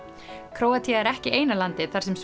Króatía er ekki eina landið þar sem